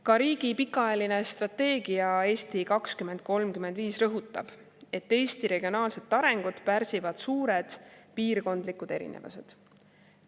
Ka riigi pikaajaline strateegia "Eesti 2035" rõhutab, et Eesti regionaalset arengut pärsivad suured piirkondlikud erinevused.